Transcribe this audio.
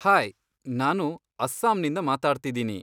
Hi! ನಾನು ಅಸ್ಸಾಮ್ನಿಂದ ಮಾತಾಡ್ತಿದ್ದೀನಿ.